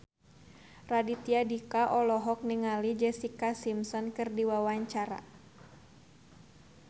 Raditya Dika olohok ningali Jessica Simpson keur diwawancara